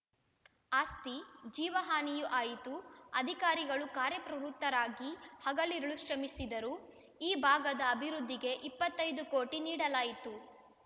ಆಸ್ತಿ ಜೀವ ಹಾನಿಯೂ ಆಯಿತು ಅಧಿಕಾರಿಗಳು ಕಾರ್ಯಪ್ರವೃತರಾಗಿ ಹಗಲಿರುಳು ಶ್ರಮನಿಸಿದರು ಈ ಭಾಗಗದ ಅಭಿವೃದ್ಧಿಗೆ ಇಪ್ಪತ್ತೈದು ಕೋಟಿ ನೀಡಲಾಯಿತ್ತು